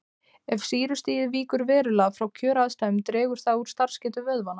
Ef sýrustigið víkur verulega frá kjöraðstæðum dregur það úr starfsgetu vöðvanna.